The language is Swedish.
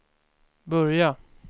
börja